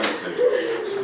Dedilər bayırda yoxdur.